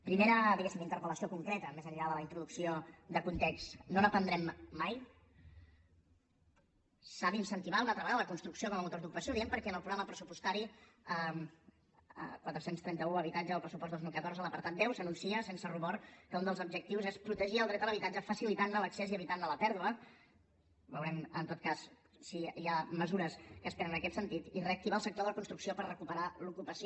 primera diguéssim interpel·lació concreta més enllà de la introducció de context no n’aprendrem mai s’ha d’incentivar una altra vegada la construcció com a motor d’ocupació ho diem perquè en el programa pressupostari quatre cents i trenta un habitatge del pressupost dos mil catorze a l’apartat deu s’anuncia sense rubor que un dels objectius és protegir el dret a l’habitatge facilitant ne l’accés i evitant ne la pèrdua veurem en tot cas si hi ha mesures que es prenen en aquest sentit i reactivar el sector de la construcció per recuperar l’ocupació